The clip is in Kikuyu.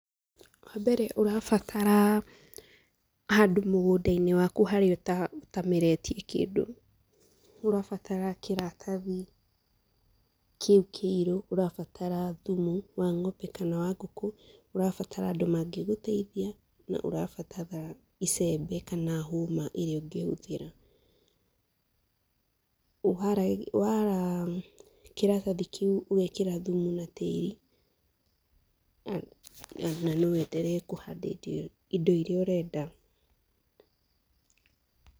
Wa mbere ũrabatara, handũ mũgũnda-inĩ waku haria ũta ũtameretie kĩndũ, ũrabatara kĩratathi, kĩu kĩirũ, ũrabatara thumu wa ng'ombe kana wa ngukũ. ũrabatara andũ mangĩgũteithia na nĩ ũrabatara icembe kana hũma ĩrĩa ũngĩhũthĩra. Ũhoro wara, kĩratathi kĩu ũgekĩra thumu na tĩri, na no wenderee kũhanda indo indo iria ũrenda.